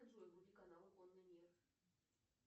джой вруби канал конный мир